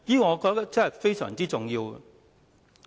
我覺得這方面非常重要。